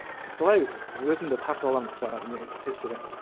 солай өзімді тартып аламын жаңағы не стрестерден